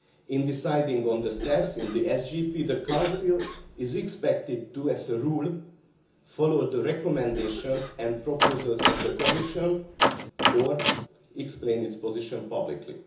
In deciding on the staff in the SGP, the Council is expected, as a rule, to follow the recommendations and proposals of the Commission or to explain its position publicly.